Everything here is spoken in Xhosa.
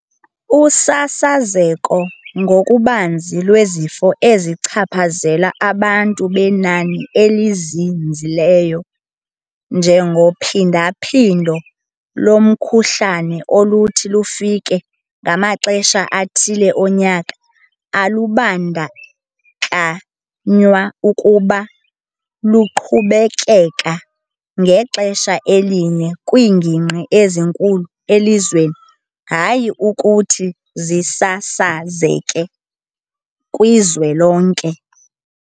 Usasazeko ngokubanzi lwezifo ezichaphazela abantu benani elizinzileyo, njengophindaphindo lomkhuhlane oluthi lufike ngamaxesha athile onyaka, alubandakanywa kuba luqhubekeka ngexesha elinye kwiingingqi ezinkulu elizweni, hayi ukuthi zisasazeka kwizwe lonke.